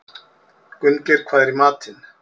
Gunngeir, hvað er í matinn?